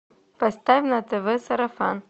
поставь на тв сарафан